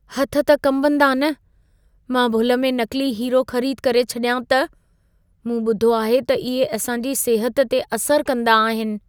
हथ त कंबदा न! मां भुल में नक़िली हीरो ख़रीद करे छॾियां त? मूं ॿुधो आहे त इहे असां जी सिहत ते असर कंदा आहिनि।